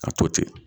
A to ten